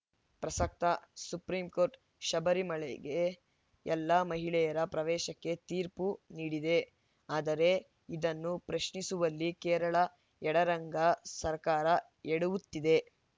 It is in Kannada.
ಪ್ರಸಕ್ತ ಸುಪ್ರೀಂ ಕೋರ್ಟ್‌ ಶಬರಿಮಲೆಗೆ ಎಲ್ಲ ಮಹಿಳೆಯರ ಪ್ರವೇಶಕ್ಕೆ ತೀರ್ಪು ನೀಡಿದೆ ಆದರೆ ಇದನ್ನು ಪ್ರಶ್ನಿಸುವಲ್ಲಿ ಕೇರಳ ಎಡರಂಗ ಸರ್ಕಾರ ಎಡವುತ್ತಿದೆ